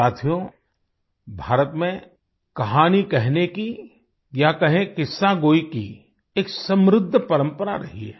साथियो भारत में कहानी कहने की या कहें किस्सागोई की एक समृद्ध परंपरा रही है